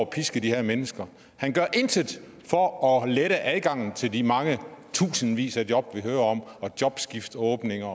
piske de her mennesker han gør intet for at lette adgangen til de mange tusindvis af job vi hører om og jobskiftåbninger